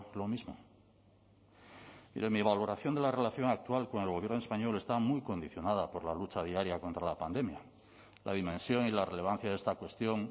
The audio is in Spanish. lo mismo mire mi valoración de la relación actual con el gobierno español está muy condicionada por la lucha diaria contra la pandemia la dimensión y la relevancia de esta cuestión